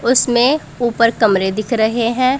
उसमें ऊपर कमरे दिख रहे हैं।